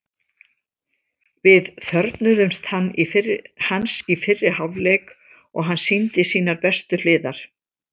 Við þörfnuðumst hans í fyrri hálfleik og hann sýndi sínar bestu hliðar.